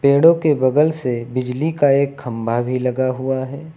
पेड़ों के बगल से बिजली का एक खंभा भी लगा हुआ है।